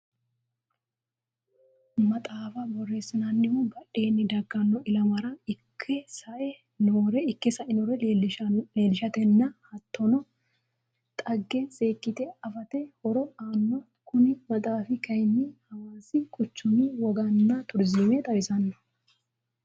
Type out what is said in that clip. Maxaafa booreesinnannihu badheenni dagano ilamare Ike sai nore leelishatenna hattono xage seekite afate horo aanno. Kunni maxaafi kayinni hawaasi quchumi woganna turiziime xawisano.